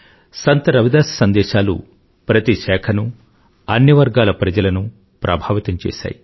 సంత్రవిదాస్సందేశాలుప్రతిశాఖను అన్నివర్గాలప్రజలనుప్రభావితంచేశాయి